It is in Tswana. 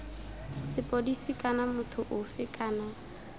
sepodisi kana motho ofe kana